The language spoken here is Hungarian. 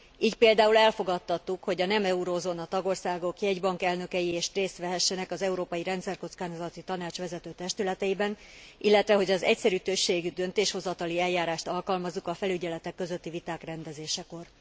Így például elfogadtattuk, hogy a nem eurózóna tagországok jegybankelnökei is részt vehessenek az Európai Rendszerkockázati Tanács vezetőtestületeiben, illetve, hogy az egyszerű többségű döntéshozatali eljárást alkalmazzuk a felügyeletek közötti viták rendezésekor.